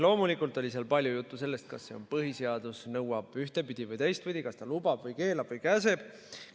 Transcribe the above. Loomulikult oli palju juttu sellest, kas põhiseadus nõuab ühtepidi või teistpidi, kas ta lubab või keelab-käsib.